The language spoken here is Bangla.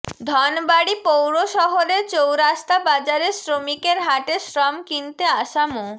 ধনবাড়ী পৌর শহরের চৌরাস্তা বাজারে শ্রমিকের হাটে শ্রম কিনতে আসা মো